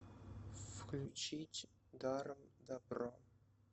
включить даром дабро